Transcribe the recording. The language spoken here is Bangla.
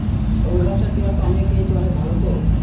তো ওই গাছটার পেয়ারা তো আমিও খেয়েছি ভালো তো